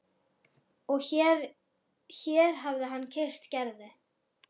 Og hér hér hafði hann kysst Gerði.